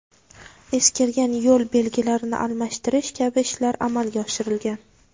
eskirgan yo‘l belgilarini almashtirish kabi ishlar amalga oshirilgan.